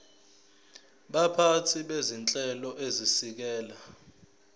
baphathi bezinhlelo ezisekela